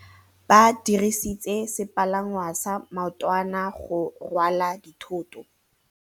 Ba dirisitse sepalangwasa maotwana go rwala dithôtô.